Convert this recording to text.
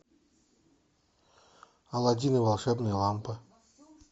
аладдин и волшебная лампа